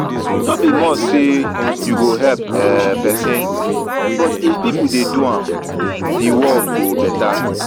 no be must say you go help um persin but if pipo de do am di world go better